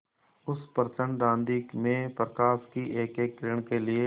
उस प्रचंड आँधी में प्रकाश की एकएक किरण के लिए